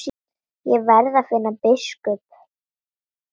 Ég verð að finna biskup!